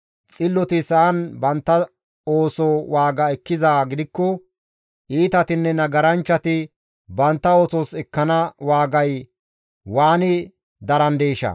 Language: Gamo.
Xilloti sa7an bantta ooso waaga ekkizaa gidikko, iitatinne nagaranchchati bantta oosos ekkana waagay waani darandeeshaa!